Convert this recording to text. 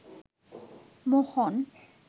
মোহন